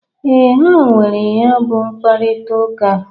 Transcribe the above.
Ee, ha nwere ya bụ mkparịtaụka.